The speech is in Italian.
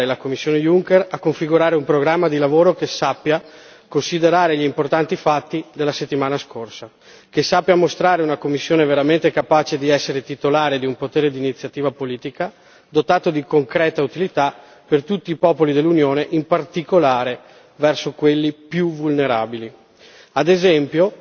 Vi invito allora a stimolare la Commissione Juncker a configurare un programma di lavoro che sappia considerare gli importanti fatti della scorsa settimana, mostrare una Commissione veramente capace di essere titolare di un potere di iniziativa politica, dotato di concreta utilità per tutti i popoli dell'Unione, in particolare verso quelli più vulnerabili,